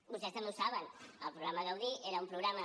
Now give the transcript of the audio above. vostès també ho saben el programa g udí era un programa